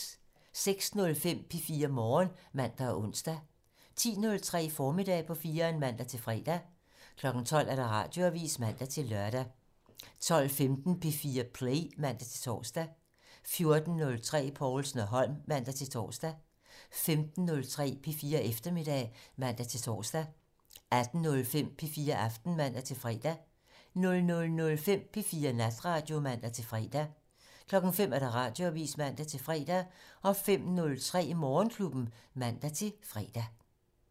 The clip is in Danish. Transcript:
06:05: P4 Morgen (man og ons) 10:03: Formiddag på 4'eren (man-fre) 12:00: Radioavisen (man-lør) 12:15: P4 Play (man-tor) 14:03: Povlsen og Holm (man-tor) 15:03: P4 Eftermiddag (man-tor) 18:05: P4 Aften (man-fre) 00:05: P4 Natradio (man-fre) 05:00: Radioavisen (man-fre) 05:03: Morgenklubben (man-fre)